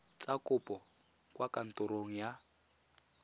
tsa kopo kwa kantorong ya